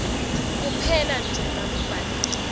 kuphelanje nangabe kubhaliswa